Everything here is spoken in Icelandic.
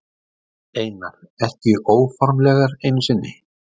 Einar: Ekki óformlegar einu sinni?